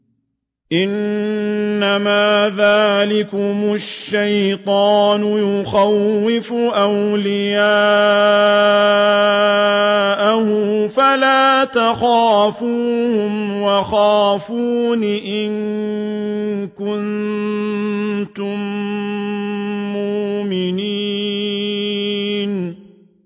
إِنَّمَا ذَٰلِكُمُ الشَّيْطَانُ يُخَوِّفُ أَوْلِيَاءَهُ فَلَا تَخَافُوهُمْ وَخَافُونِ إِن كُنتُم مُّؤْمِنِينَ